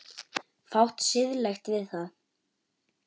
Fátt siðlegt við það?